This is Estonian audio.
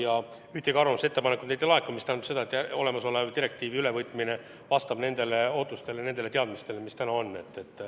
Aga ühtegi arvamust ega ettepanekut neilt ei laekunud – see tähendab seda, et direktiivi ülevõtmine vastab nendele ootustele ja teadmistele, mis täna on.